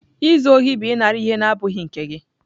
Izu ohi bụ ịnara ihe na-abụghị nke gị.